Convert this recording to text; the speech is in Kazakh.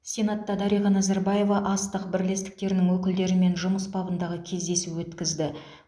сенатта дариға назарбаева астық бірлестіктерінің өкілдерімен жұмыс бабындағы кездесу өткізді